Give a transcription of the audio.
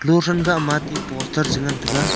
luthen gahma ate poster chi ngantaga.